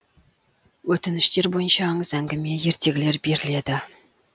өтініштер бойынша аңыз әңгіме ертегілер беріледі